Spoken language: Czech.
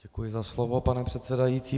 Děkuji za slovo, pane předsedající.